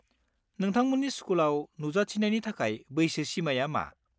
नोंथांमोननि स्कुलाव नुजाथिनायनि थाखाय बैसो सिमाआ मा?